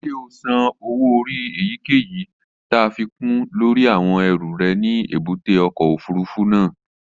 Ṣé o san owó orí èyíkèyìí láfikún lórí àwọn ẹrù rẹ ní èbúté ọkọ̀ òfurufú náà?